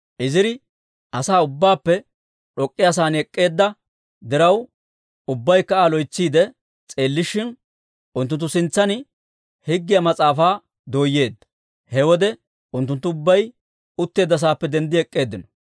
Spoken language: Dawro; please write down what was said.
Iziri asaa ubbaappe d'ok'k'iyaa sa'aan ek'k'eedda diraw, ubbaykka Aa loytsiide s'eellishin, unttunttu sintsan Higgiyaa Mas'aafaa dooyeedda. He wode unttunttu ubbay utteedda saappe denddi ek'k'eeddinno.